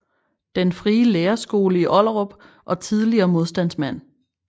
Den frie Lærerskole i Ollerup og tidligere modstandsmand